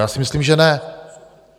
Já si myslím, že ne.